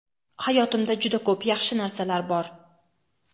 Hayotimda juda ko‘p yaxshi narsalar bor.